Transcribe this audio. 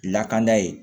Lakanda ye